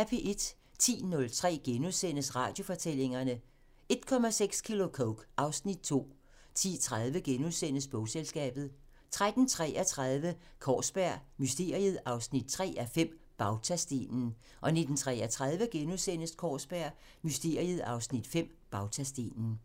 10:03: Radiofortællinger: 1,6 kilo coke - (Afs. 2)* 10:30: Bogselskabet * 13:33: Kaarsberg Mysteriet 3:5 – Bautastenen 19:33: Kaarsberg Mysteriet 3:5 – Bautastenen *